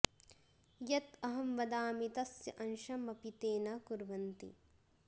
यत् अहं वदामि तस्य अंशम् अपि ते न कुर्वन्ति